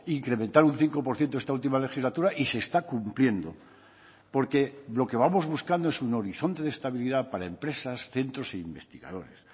incrementar un cinco por ciento esta última legislatura y se está cumpliendo porque lo que vamos buscando es un horizonte de estabilidad para empresas centros e investigadores